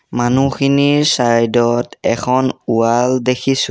মানুহখিনিৰ চাইড ত এখন ৱাল দেখিছোঁ।